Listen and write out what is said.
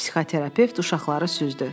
Psixoterapevt uşaqları süzdü.